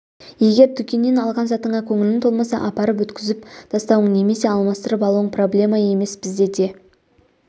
егер дүкеннен алған затыңа көңілің толмаса апарып өткізіп тастауың немесе алмастырып алуың проблема емес бізде де